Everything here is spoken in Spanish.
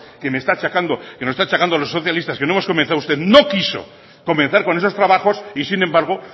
que me está achacando que nos está achacando a los socialistas que no hemos comenzado usted no quiso comenzar con esos trabajos y sin embargo